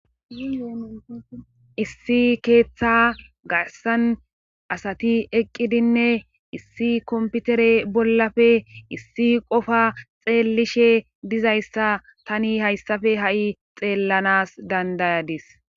issi keeththa gassan asati eqqidinne issi komputere bollafe issi qofa xeellishe dizayssa tani hayssafe ha7i xeellanas dandayadis